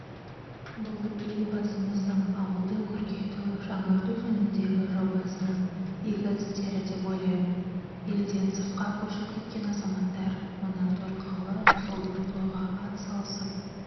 бұл елбасымыздың ауылды көркейту жаңарту жөніндегі жобасының игі істері деп ойлаймын елден сыртқа көшіп кеткен азаматтар мына торқалы жылдық тойға атсалысып